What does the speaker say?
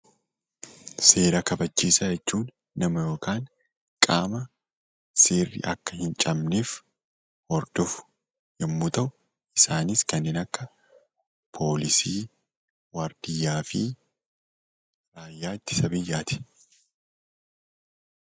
Seera kabachiisaa jechuun nama yookaan qaama seerri akka hin cabneef hordofu yommuu ta'u, isaanis kanneen akka poolisii, waardiyaa fi raayyaa ittisa biyyaati.